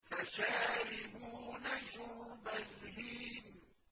فَشَارِبُونَ شُرْبَ الْهِيمِ